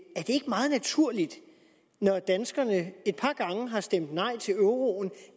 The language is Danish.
meget naturligt når danskerne et par gange har stemt nej til euroen